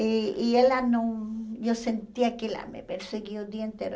E e ela não... E eu sentia que ela me perseguia o dia inteiro.